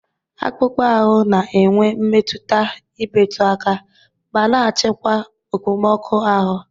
Akpụkpọ ahụ na-enwe mmetụta imetụ aka, ma na-achịkwa okpomọkụ ahụ.